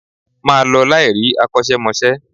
Ma lọ láì rí akosemose